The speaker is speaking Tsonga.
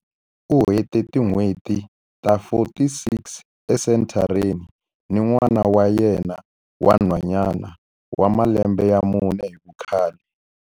U hete tin'hweti ta 46 esenthareni ni n'wana wa yena wa nhwanyana wa malembe ya mune hi vukhale.